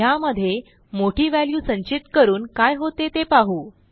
ह्यामध्ये मोठी व्हॅल्यू संचित करून काय होते ते पाहू